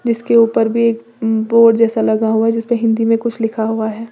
इसके ऊपर भी एक बोर्ड जैसा लगा हुआ है जिस पे हिंदी में कुछ लिखा हुआ है।